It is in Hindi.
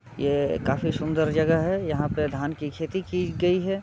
ये काफी सुन्दर जगह है यहाँ पे धान की खेती की गयी है।